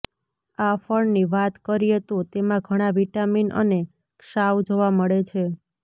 આ ફળની વાત કરીએ તો તેમા ઘણાં વિટામિન અને ક્ષાવ જોવા મળે છે